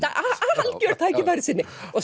er algjör tækifærissinni